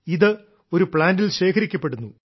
ഇത് ഒരു പ്ലാന്റിൽ ശേഖരിക്കപ്പെടുന്നു